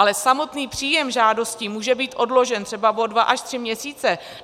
Ale samotný příjem žádostí může být odložen třeba o dva až tři měsíce.